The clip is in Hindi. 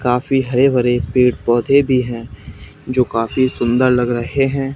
काफी हरे भरे पेड़ पौधे भी हैं जो काफी सुंदर लग रहे हैं।